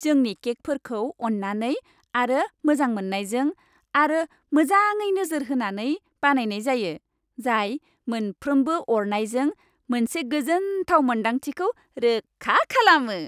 जोंनि केकफोरखौ अन्नाय आरो मोजां मोननायजों आरो मोजाङै नोजोर होनानै बानायनाय जायो, जाय मोनफ्रोमबो अरनायजों मोनसे गोजोनथाव मोन्दांथिखौ रोखा खालामो।